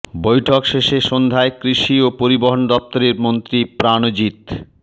বৈঠক শেষে সন্ধ্যায় কৃষি ও পরিবহন দফতরের মন্ত্রী প্রাণজীৎ